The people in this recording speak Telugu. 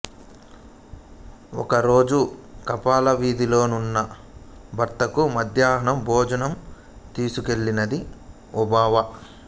ఒకరోజు కాపలావిధిలో వున్న భర్తకు మధ్యహన్నం భోజనం తీసుకెళ్ళినది ఒబవ్వ